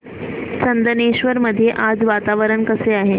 चंदनेश्वर मध्ये आज वातावरण कसे आहे